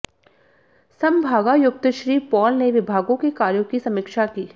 सम्भागायुक्त Shri Paul ने विभागों के कार्यों की समीक्षा की